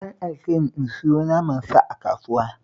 An aike ni in sayo naman sa a kasuwa